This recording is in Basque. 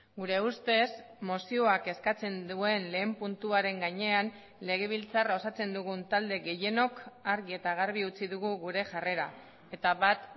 gure ustez mozioak eskatzen duen lehen puntuaren gainean legebiltzarra osatzen dugun talde gehienok argi eta garbi utzi dugu gure jarrera eta bat